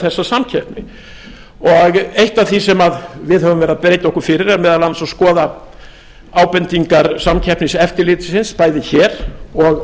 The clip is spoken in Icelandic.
þessa samkeppni eitt af því sem við höfum verið að beita okkur fyrir er meðal annars að skoða ábendingar samkeppniseftirlitsins bæði hér og